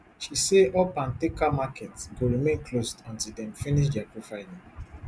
she say all pantaker markets go remain closed until dem finish dia profiling